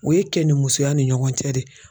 O ye kɛnimusoya ni ɲɔgɔn cɛ de